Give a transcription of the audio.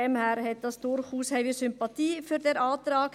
Daher haben wir durchaus Sympathien für den Antrag.